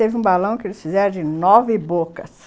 Teve um balão que eles fizeram de nove bocas.